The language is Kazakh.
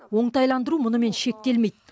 оңтайландыру мұнымен шектелмейді